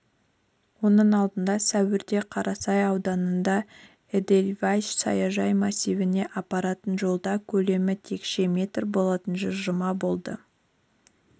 оның алдында сәуірде қарасай ауданында эдельвейс саяжай массивіне апаратын жолда көлемі текше метр болатын жылжыма болды